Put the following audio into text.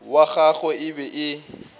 wa gagwe e be e